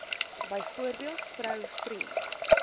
byvoorbeeld vrou vriend